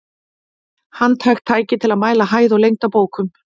Handhægt tæki til að mæla hæð og lengd á bókum.